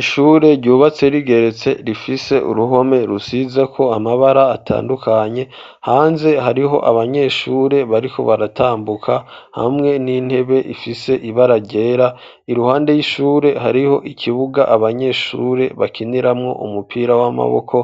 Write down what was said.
ishure ryubatse rigeretse rifise uruhome rusizeko amabara atandukanye hanze hariho abanyeshure bariko baratambuka hamwe n'intebe ifise ibara ryera iruhande y'ishure hariho ikibuga abanyeshure bakiniramwo umupira w'amaboko